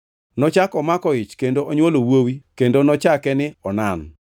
Nochako omako ich kendo onywolo wuowi kendo nochake ni Onan.